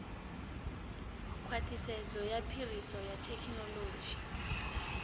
khwaṱhisedzo ya phiriso ya thekhinoḽodzhi